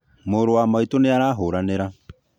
Mũrũ wa maitũ nĩ arahũranĩra